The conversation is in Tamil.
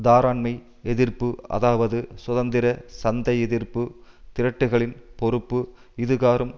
தாராண்மை எதிர்ப்பு அதாவது சுதந்திர சந்தைஎதிர்ப்பு திரட்டுக்களின் பொறுப்பு இதுகாறும்